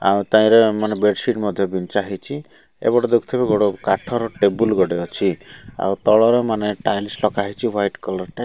ଆଉ ତାହିରେ ବେଡସିଟ ମଧ୍ୟ ବିଞ୍ଚା ହୋଇଛି ଏପଟେ ଦେଖୁ ଥିବେ କାଠ ର ଟେବୁଲ ଗୋଟେ ଅଛି ଆଉ ତଳର ମାନେ ଟାଇଲ୍ସ ଲଗା ହୋଇଛି ୱାଇଟ୍ କଲର୍ ଟାଇ --